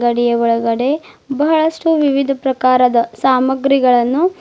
ಅಂಗಡಿಯ ಒಳಗಡೆ ಬಹಳಷ್ಟು ವಿವಿಧ ಪ್ರಕಾರದ ಸಾಮಾನುಗಳನ್ನು--